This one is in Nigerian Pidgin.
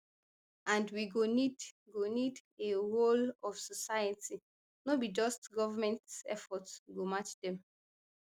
and we go need go need a wholeofsociety no be just govment effort to match dem